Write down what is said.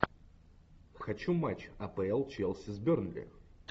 хочу матч апл челси с бернли